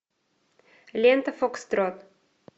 лента фокстрот